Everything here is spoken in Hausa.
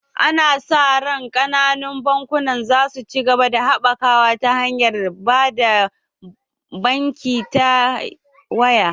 Ana sa ran kananun bankunan za su ci gaba da haɓakawa ta hanyar ba da banki ta waya